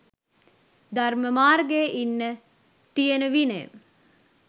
ධර්ම මාර්ගයේ ඉන්න තියෙන විනය